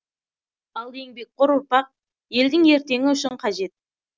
ал еңбекқор ұрпақ елдің ертеңі үшін қажет